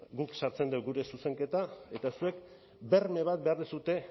guk sartzen dugu gure zuzenketa eta zuek berme bat behar duzue